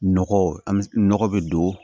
Nɔgɔ an bɛ nɔgɔ bɛ don